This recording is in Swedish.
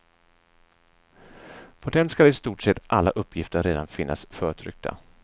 På den ska i stort sett alla uppgifter redan finnas förtryckta.